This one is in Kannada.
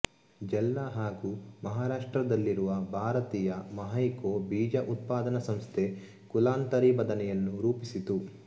ಜಲ್ನಾ ಹಾಗು ಮಹಾರಾಷ್ಟ್ರದಲ್ಲಿರುವ ಭಾರತೀಯ ಮಹೈಕೋ ಬೀಜ ಉತ್ಪಾದನಾ ಸಂಸ್ಥೆ ಕುಲಾಂತರಿ ಬದನೆಯನ್ನು ರೂಪಿಸಿತು